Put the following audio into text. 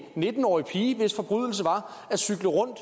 nitten årig pige hvis forbrydelse var at cykle rundt